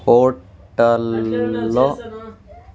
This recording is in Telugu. హోటల్లో --